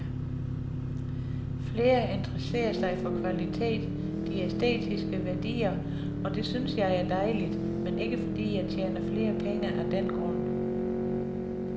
Flere interesserer sig for kvalitet, de æstetiske værdier, og det synes jeg er dejligt, men ikke fordi jeg tjener flere penge af den grund.